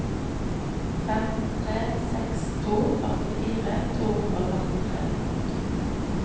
fem tre seks to førtifire to hundre og førtitre